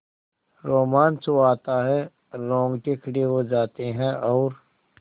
रोमांच हो आता है रोंगटे खड़े हो जाते हैं और